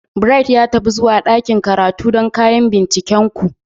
Bright, ya tafi zuwa ɗakin karatu don kayan bincikenku.